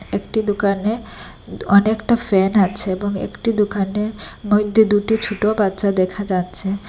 একটি দুকানে অনেকটা ফ্যান আছে এবং একটি দুকানের মইদ্যে দুটি ছোট বাচ্চা দেখা যাচ্ছে।